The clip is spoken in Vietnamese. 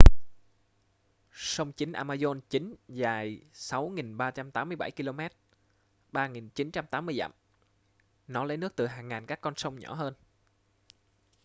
sông chính amazon chính dài 6.387 km 3980 dặm. nó lấy nước từ hàng ngàn các con sông nhỏ hơn